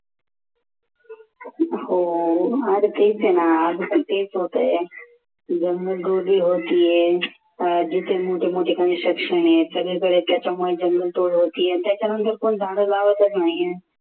हो अरे तेच आहे ना अजून पण तेच होतंय जिथे मोठे मोठे construction आहे सगळीकडे त्याच्यामुळे जंगलतोड होतीये त्याच्यानंतर पण झाड लावतच नाही आहे.